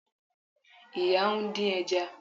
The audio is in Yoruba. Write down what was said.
Ìyá ń dín ẹja